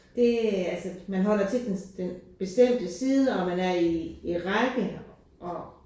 Det altså man holder til den den bestemte side og man er i i række og